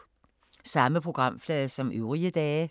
Samme programflade som øvrige dage